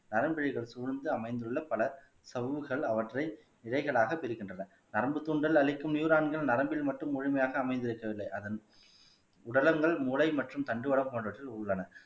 நரம்புலிகள் சூழ்ந்து அமைந்துள்ள பல சவ்வுகள் அவற்றை விதைகளாக பெறுகின்றன நரம்புத் துண்டல் அழிக்கும் நியூரான்கள் நரம்பில் மட்டும் முழுமையாக அமைந்திருக்கவில்லை அதன் உடலங்கள் மூளை மற்றும் தண்டுவடம் போன்றவற்றில் உள்ளன